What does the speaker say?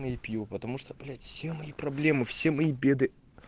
не пью потому что блять все мои проблемы все мои беды